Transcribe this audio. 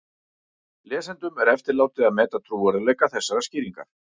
Lesendum er eftirlátið að meta trúverðugleika þessarar skýringar.